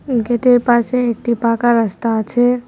উম gate -এর পাশে একটি পাকা রাস্তা আছে।